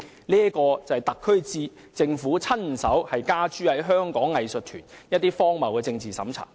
這就是特區政府親手加諸於香港藝術團體的荒謬政治審查。